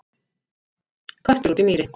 Köttur út í mýri